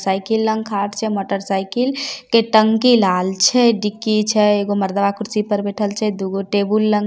cycle लंग खाड़ छै मोटरसाइकिल के टंकी लाल छै डिक्की छै एगो मरदावा कुर्सी पर बैठएल छै दुगो टेबुल लंग -----